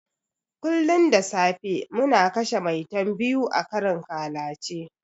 Kullun da safe muna kashe 'Maitan' biyu a karin ƙalace.